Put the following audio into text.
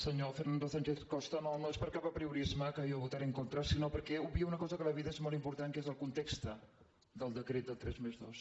senyor fernando sánchez costa no és per cap apriorisme que jo votaré en contra sinó perquè obvia una cosa que a la vida és molt important que és el context del decret del tres+dos